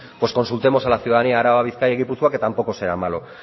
pues consultemos a la ciudadanía de araba bizkaia y gipuzkoa que tampoco será malo